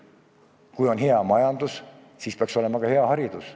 Kui on hea majandus, siis peaks olema ka hea haridus.